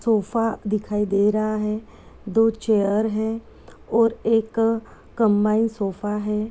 Sofa दिखाई दे रहा है दो चेयर हैं और एक कम्बाइन्ड सोफा है।